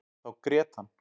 Þá grét hann.